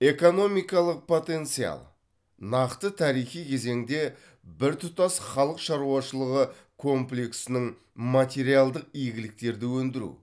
экономикалық потенциал нақты тарихи кезеңде біртұтас халық шаруашылығы комплексінің материалдық игіліктерді өндіру